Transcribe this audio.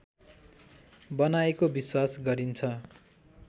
बनाएको विश्वास गरिन्छ